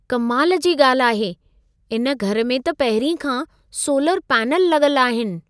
कमाल जी ॻाल्हि आहे। इन घर में त पहिरीं खां सोलर पैनल लॻल आहिनि।